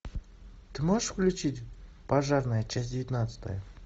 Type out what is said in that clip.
ты можешь включить пожарные часть девятнадцатая